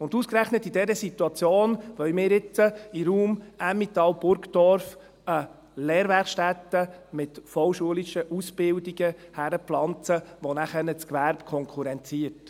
Und ausgerechnet in dieser Situation wollen wir jetzt in den Raum Emmental/Burgdorf eine Lehrwerkstätte mit vollschulischen Ausbildungen hinpflanzen, die nachher das Gewerbe konkurrenziert.